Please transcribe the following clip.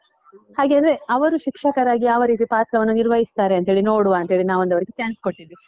ಹಾಗೇನೇ ಅವರು ಶಿಕ್ಷಕರಾಗಿ ಯಾವ ರೀತಿ ಪಾತ್ರವನ್ನು ನಿರ್ವಹಿಸ್ತಾರೆ ಅಂತ ಹೇಳಿ, ನೋಡುವ ಅಂತ ಹೇಳಿ ನಾವೊಂದ್ ಅವ್ರಿಗೆ chance ಕೊಟ್ಟಿದ್ವಿ.